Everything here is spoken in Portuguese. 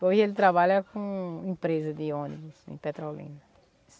Hoje ele trabalha com empresa de ônibus em Petrolina.